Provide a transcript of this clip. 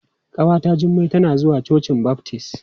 Ƙawata Jummai tana zuwa cocin baftis.